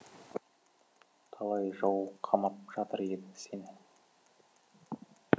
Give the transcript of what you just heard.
талай жау қамап жатыр еді сені